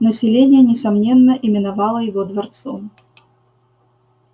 население несомненно именовало его дворцом